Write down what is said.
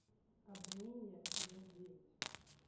обмани меня эпизод девять